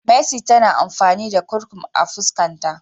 Mercy tana amfani da Kurkur a fuskan ta.